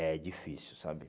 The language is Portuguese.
É difícil, sabe?